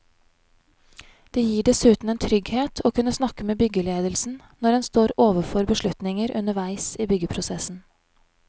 Det gir dessuten en trygghet å kunne snakke med byggeledelsen når en står overfor beslutninger underveis i byggeprosessen.